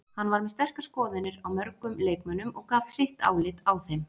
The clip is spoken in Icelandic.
Hann var með sterkar skoðanir á mörgum leikmönnum og gaf sitt álit á þeim.